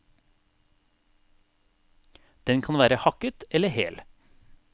Den kan være hakket eller hel.